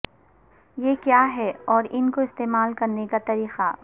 یہ کیا ہے اور ان کو استعمال کرنے کا طریقہ